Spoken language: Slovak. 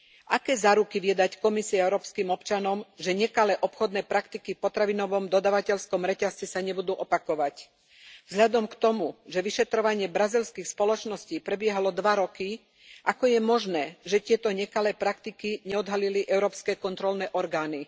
Aké záruky vie dať Európska komisia európskym občanom, že nekalé obchodné praktiky v potravinovom dodávateľskom reťazci sa nebudú opakovať? Vzhľadom na to, že vyšetrovanie brazílskych spoločností prebiehalo dva roky, ako je možné, že tieto nekalé praktiky neodhalili európske kontrolné orgány?